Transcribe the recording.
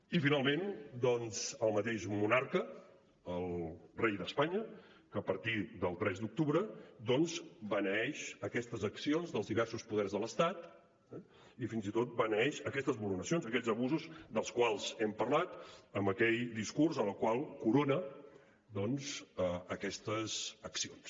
i finalment doncs el mateix monarca el rei d’espanya que a partir del tres d’octubre beneeix aquestes accions dels diversos poders de l’estat eh i fins i tot beneeix aquestes vulneracions aquests abusos dels quals hem parlat amb aquell discurs amb el qual corona aquestes accions